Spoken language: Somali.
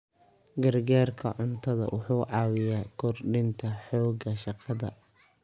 Gargaarka cuntadu wuxuu caawiyaa kordhinta xoogga shaqada.